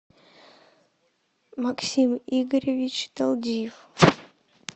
максим игоревич талдиев